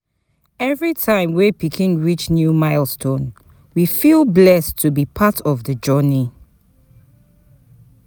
Every time pikin reach new milestone, we feel blessed to be part of the journey.